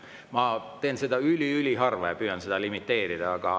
Ma teen seda üli-üliharva ja püüan seda limiteerida.